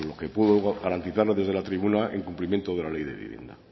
que puedo garantizarle desde la tribuna en cumplimiento de la ley de vivienda